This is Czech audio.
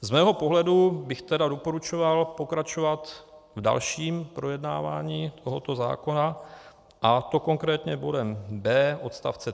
Z mého pohledu bych tedy doporučoval pokračovat v dalším projednávání tohoto zákona, a to konkrétně bodem d) odst.